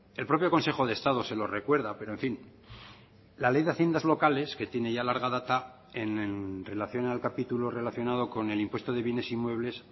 el propio consejo de estado se lo recuerda pero en fin la ley de haciendas locales que tiene ya larga data en relación al capítulo relacionado con el impuesto de bienes inmuebles